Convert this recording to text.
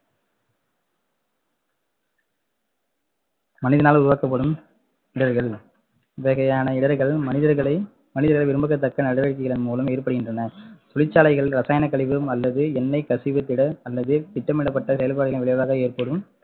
மனிதனால் உருவாக்கப்படும் இடர்கள் இவ்வகையான இடர்கள் மனிதர்களை மனிதர்கள் விரும்பகத்தக்க நடவடிக்கைகளின் மூலம் ஏற்படுகின்றன தொழிற்சாலைகள் ரசாயன கழிவு அல்லது எண்ணெய் கசிவு திட அல்லது திட்டமிடப்பட்ட செயல்பாடுகளின் விளைவாக ஏற்படும்